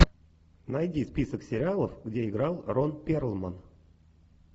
найди список сериалов где играл рон перлман